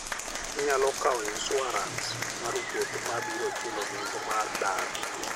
Inyalo kawo insuarans mar wuoth ma biro chulo nengo mar dar.